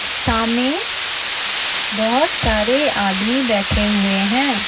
सामने बहुत सारे आदमी बैठे हुए हैं।